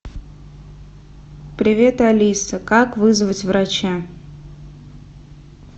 привет алиса как вызвать врача